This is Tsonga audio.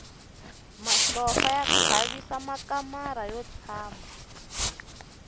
masopfa ya khavisa kamara ro tshama